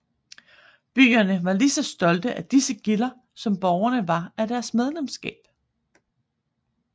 Byerne var lige så stolte af disse gilder som borgerne var af deres medlemskab